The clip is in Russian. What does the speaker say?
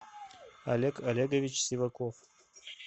олег олегович сиваков